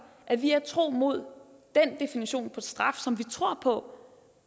at vi er tro mod den definition på straf som vi tror på